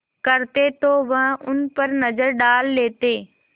करते तो वह उन पर नज़र डाल लेते